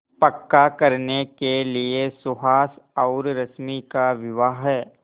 पक्का करने के लिए सुहास और रश्मि का विवाह